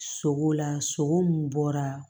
Sogo la sogo min bɔra